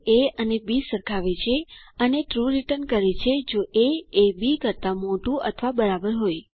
તે એ અને બી સરખાવે છે અને ટ્રૂ રીટર્ન કરે છે જો એ એ બી કરતાં મોટું અથવા બરાબર હોય